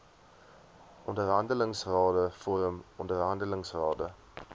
onderhandelingsrade vorm onderhandelingsrade